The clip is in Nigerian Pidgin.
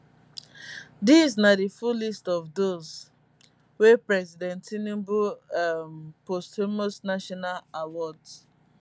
dis na di full list of those wey president tinubu um posthumous national awards